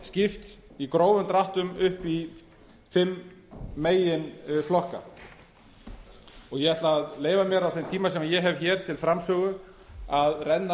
skipt í grófum dráttum upp í fimm meginflokka ég ætla að leyfa mér á þeim tíma sem ég hef hér til framsögu að renna